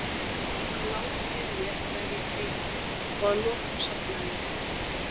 Hann lá við hlið mér meðan ég grét og að lokum sofnaði ég.